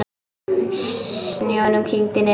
Snjónum kyngdi niður.